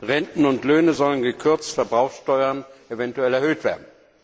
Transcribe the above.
Renten und Löhne sollen gekürzt, Verbrauchsteuern eventuell erhöht werden.